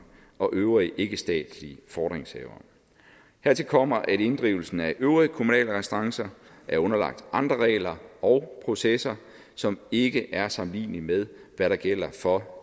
og øvrige ikkestatslige fordringshavere hertil kommer at inddrivelsen af øvrige kommunale restancer er underlagt andre regler og processer som ikke er sammenlignelige med det der gælder for